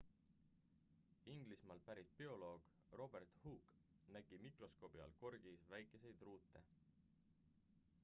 inglismaalt pärit bioloog robert hooke nägi mikroskoobi abil korgis väikeseid ruute